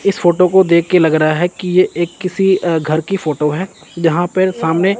इस फोटो को देख के लग रहा है कि ये एक किसी अ घर की फोटो है यहां पर सामने--